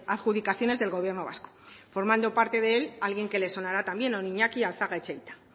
adjudicaciones del gobierno vasco formando parte de él alguien que se le sonará también don iñaki alzaga etxeita